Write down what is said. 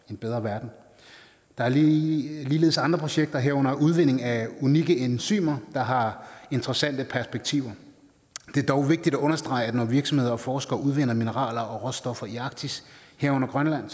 en bedre verden der er ligeledes andre projekter herunder udvinding af unikke enzymer der har interessante perspektiver det er dog vigtigt at understrege at når virksomheder og forskere udvinder mineraler og råstoffer i arktis herunder grønland